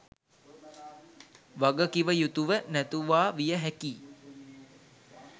වග කිව යුතුව නැතුවා විය හැකියි